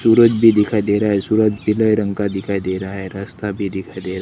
सूरज भी दिखाई दे रहा है सूरज पीले रंग का दिखाई दे रहा है रस्ता भी दिखाई दे रह--